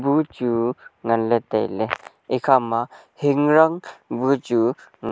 machu nganley tailey ekhama hingrang bu chu--